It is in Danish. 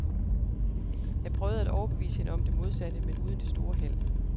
Jeg prøvede at overbevise hende om det modsatte, men uden det store held.